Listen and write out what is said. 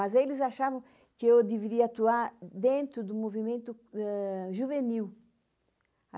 Mas eles achavam que eu deveria atuar dentro do movimento juvenil.